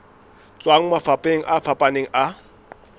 tswang mafapheng a fapaneng a